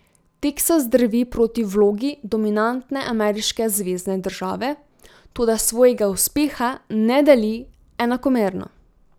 Teksas drvi proti vlogi dominantne ameriške zvezne države, toda svojega uspeha ne deli enakomerno.